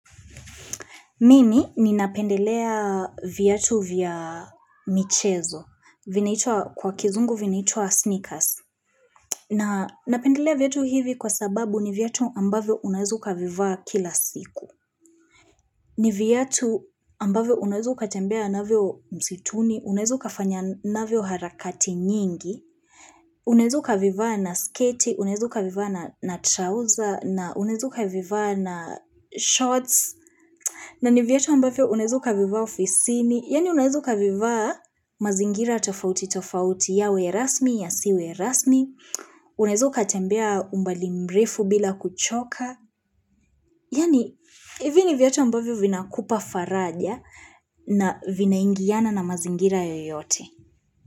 Mimi ni napendelea viatu vya michezo. Kwa kizungu vinaitwa sneakers. Na napendelea viatu hivi kwa sababu ni viatu ambavyo unaweza ukavivaa kila siku. Ni viatu ambavyo unaweza ukatembea navyo msituni, unaweza ukafanya na vyo harakati nyingi. Unaweza ukavivaa na skati, unaweza ukavivaa na trouser, unaweza ukavivaa na shorts. Na ni viatu ambavyo unaweza ukavivaa ofisini, yaani unaweza ukavivaa mazingira tofauti tofauti yawe rasmi yasiwe rasmi, unaweza ukatembea umbali mrefu bila kuchoka, yaani hivi ni viatu ambavyo vinakupa faraja na vinaingiana na mazingira yoyote.